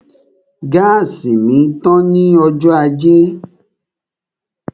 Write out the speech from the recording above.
Gáàsì mi tán ní ọjọ́ ajé